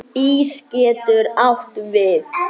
Ís getur átt við